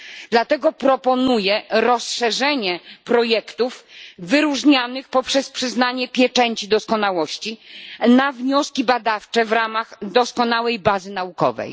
Dlatego proponuję rozszerzenie projektów wyróżnianych przez przyznanie pieczęci doskonałości na wnioski badawcze w ramach doskonałej bazy naukowej.